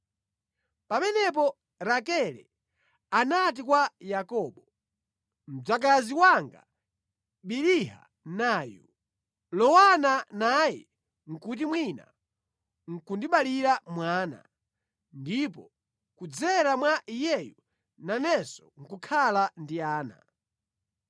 Pamenepo Rakele anati kwa Yakobo, “Mdzakazi wanga Biliha nayu. Lowana naye kuti mwina nʼkundibalira mwana, ndipo kudzera mwa iyeyu nanenso nʼkukhala ndi ana.”